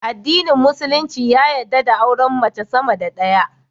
Adinin musulunci ya yadda da auren mace sama da daya